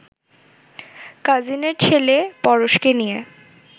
কাজিনের ছেলে পরশকে নিয়ে